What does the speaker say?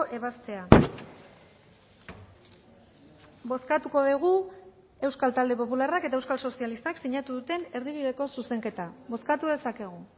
ebazpena bozkatuko dugu euskal talde popularrak eta euskal sozialistak sinatu duten erdibideko zuzenketa bozkatu dezakegu